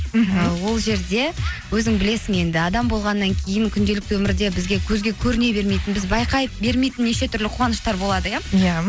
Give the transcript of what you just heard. мхм ол жерде өзің білесің енді адам болғаннан кейін күнделікті өмірде бізге көзге көріне бермейтін біз байқай бермейтін неше түрлі қуаныштар болады иә иә